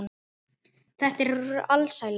Þetta var alsæla.